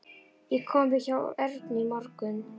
Ég kom við hjá Ernu í morgun.